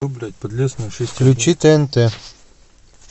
включи тнт